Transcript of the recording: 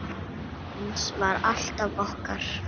Hans var alltaf okkar.